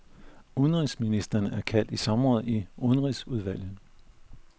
Udviklingsministeren er kaldt i samråd i udenrigsudvalget.